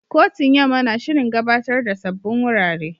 Kotun Yamma na shirin gabatar da sabbin wurare.